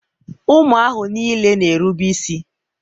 ụmụ ahụ niile na-erube isi.